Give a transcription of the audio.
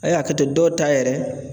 A y'a kɛ ten dɔw ta yɛrɛ ye